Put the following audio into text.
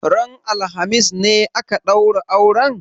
Ranan alhamis ne aka ɗaura auren?